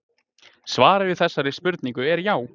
svarið við þessari spurningu er já